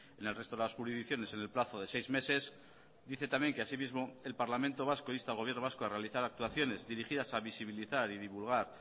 en el resto de las jurisdicciones en el plazo de seis meses dice también que asimismo el parlamento vasco insta al gobierno vasco a realizar actuaciones dirigidas a visibilizar y divulgar